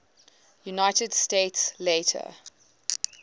united states later